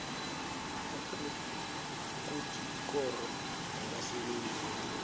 ukuthi ikoro yabasebenzi